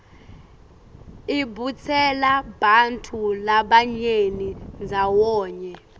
ibutsela bantfu labanyeni ndzawonye